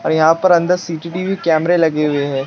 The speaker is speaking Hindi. और यहां पर अंदर सी_टी_वी_वी कैमरे लगे हुए हैं।